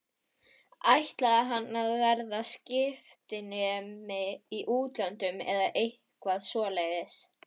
Ætlaði hann að verða skiptinemi í útlöndum eða eitthvað svoleiðis?